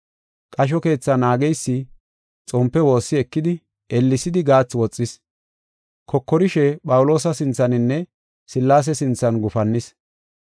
Qasho keethaa naageysi xompe woossi ekidi ellesidi gaathi woxis. Kokorishe Phawuloosa sinthaninne Sillaase sinthan gufannis.